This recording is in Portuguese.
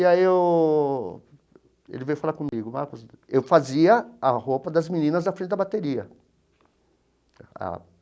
E aí eu ele veio falar comigo, eu fazia a roupa das meninas da frente da bateria.